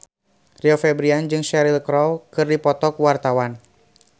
Rio Febrian jeung Cheryl Crow keur dipoto ku wartawan